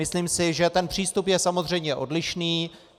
Myslím si, že ten přístup je samozřejmě odlišný.